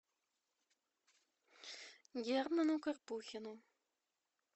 герману карпухину